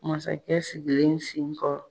Masakɛ sigilen sinkɔrɔ